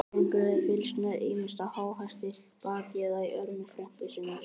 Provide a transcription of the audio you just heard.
Drengur hafði fylgst með, ýmist á háhesti, baki eða í örmum frænku sinnar.